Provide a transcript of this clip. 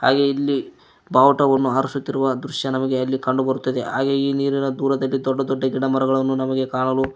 ಹಾಗೆ ಇಲ್ಲಿ ಬಾವುಟವನ್ನು ಹಾರಸುತ್ತಿರುವ ದೃಶ್ಯ ನಮಗೆ ಅಲ್ಲಿ ಕಂಡುಬರುತ್ತದೆ ಹಾಗೆ ಈ ನೀರಿನ ದೂರದಲ್ಲಿ ದೊಡ್ಡ ದೊಡ್ಡ ಗಿಡ ಮರಗಳನು ನಮಗೆ ಕಾಣಲು--